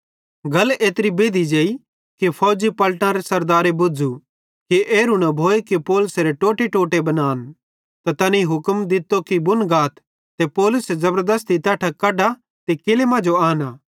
गल एत्री बेद्धी जेई कि फौजी पलटनरे सरदारे बुझ़ू कि एरू न भोए कि पौलुसेरे टोटेटोटे बनान त तैनी हुक्म दित्तो कि बुन गाथ ते पौलुसे ज़बरदस्ती तैट्ठां कढा ते किल्लै मांजो आनां